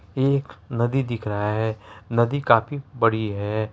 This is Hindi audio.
एक नदी दिख रहा है नदी काफी बड़ी है।